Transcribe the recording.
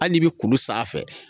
Hali n'i bɛ kulu s'a fɛ